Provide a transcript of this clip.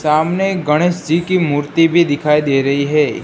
सामने गणेश जी की मूर्ति भी दिखाई दे रही है।